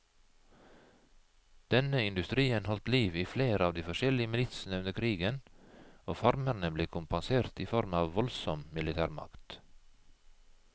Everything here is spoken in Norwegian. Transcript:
Denne industrien holdt liv i flere av de forskjellige militsene under krigen, og farmerne ble kompensert i form av voldsom militærmakt.